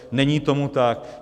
Není tomu tak.